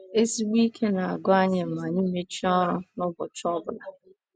Ezigbo ike na - agwụ anyị ma anyị mechie ọrụ n’ụbọchị ọ bụla.